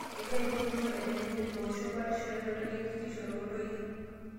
Egira ilo tururr aiteng'en ilo oosho batisho enutai ekitisho too ntoyie